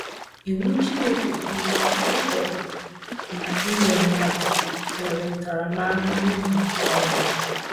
Iwu Chineke kwuru na ịtọrọ na ire mmadụ nwere ntaramahụhụ nke ọnwụ.